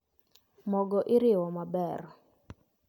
Mogo iriwo maber